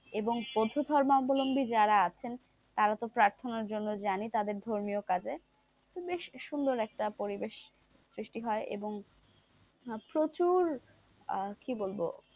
এবং বৌদ্ধ ধর্ম অবলম্বী যারা আছেন তারা তো প্রার্থনার জন্য যানই তাদের তো ধর্মীয় কাজে, তো বেশ সুন্দর একটা পরিবেশ সৃষ্টি হয় এবং প্রচুর আহ কি বলবো,